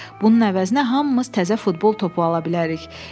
“Bunun əvəzinə hamımız təzə futbol topu ala bilərik.